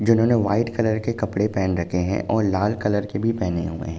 जिन्होंने white colour के कपड़े पहन रखे है और लाल कलर के भी पहने हुए हैं।